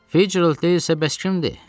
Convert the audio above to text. Fitzgerald deyil isə bəs kimdir?